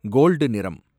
gold நிறம்